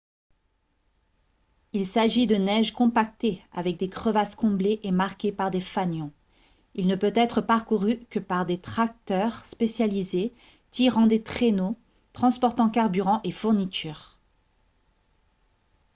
il s'agit de neige compactée avec des crevasses comblées et marquées par des fanions il ne peut être parcouru que par des tracteurs spécialisés tirant des traîneaux transportant carburant et fournitures